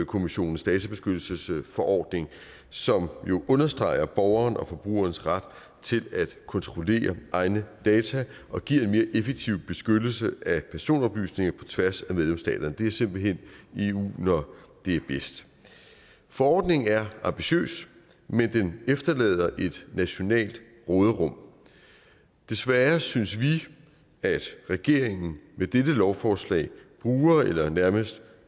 kommissionens databeskyttelsesforordning som jo understreger borgerens og forbrugerens ret til at kontrollere egne data og giver en mere effektiv beskyttelse af personoplysninger på tværs af medlemsstaterne det er simpelt hen eu når det er bedst forordningen er ambitiøs men den efterlader et nationalt råderum desværre synes vi at regeringen med dette lovforslag bruger eller nærmest